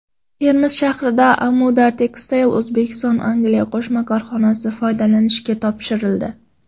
Termiz shahrida Amudar Textile O‘zbekistonAngliya qo‘shma korxonasi foydalanishga topshirildi.